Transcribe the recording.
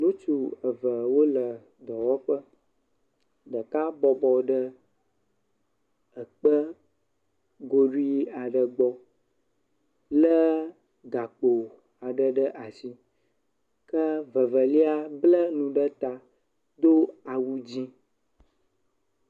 Ŋutsu eve wole dɔwɔƒe, ɖeka bɔbɔ ɖe ekpe goɖui aɖe gbɔ lé gakpo aɖe ɖe asi ke vevelia blanane ɖe ta do awu dzɛ̃.